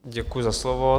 Děkuji za slovo.